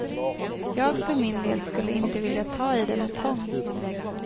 Jag för min del skulle inte vilja ta i det med tång.